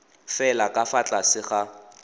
fela ka fa tlase ga